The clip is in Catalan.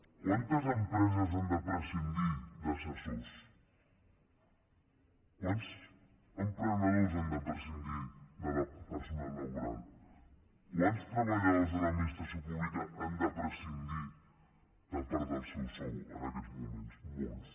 quantes empreses han de prescindir d’assessors quants emprenedors han de prescindir de personal laboral quants treballadors de l’administració pública han de prescindir de part del seu sou en aquests moments molts